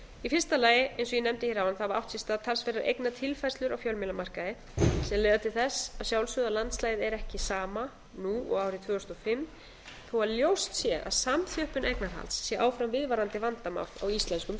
í fyrsta legi eins og ég nefndi hér áðan hafa átt sér stað talsverðar eignatilfærslur á fjölmiðlamarkaði sem leiða til þess að sjálfsögðu að landslagið er ekki sama nú og árið tvö þúsund og fimm þó að ljóst sé að samþjöppun eignarhalds sé áfram viðvarandi vandamál á íslenskum